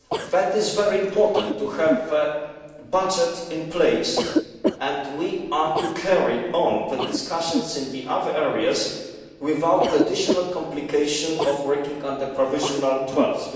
It is very important to have a budget in place, so that we can carry on the discussions in the other areas without the additional complication of working under provisional twelfths.